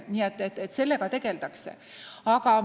Nii et sellega tegeldakse.